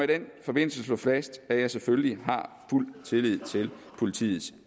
den forbindelse slå fast at jeg selvfølgelig har fuld tillid til politiets